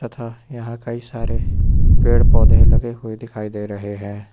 तथा यहां कई सारे पेड़ पौधे लगे हुए दिखाई दे रहे हैं।